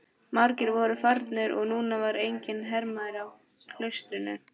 Margir voru farnir og núna var enginn hermaður í klaustrinu.